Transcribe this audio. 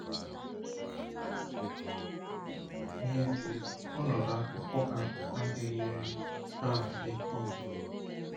N’ezie, ọnọdụ afụfụ ha adịghịrị ha mfe idi.